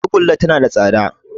Tagulla tana da tsada